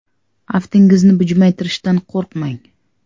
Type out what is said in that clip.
Aftingizni bujmaytirishdan qo‘rqmang!